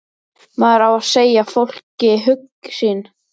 Maður á að segja fólki hug sinn.